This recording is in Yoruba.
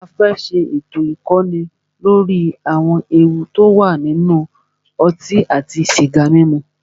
A fẹ́ ṣé ètò ìkọ́ni lóri àwọn ewu ti o wà nínú ọtí àti sìgá mímu.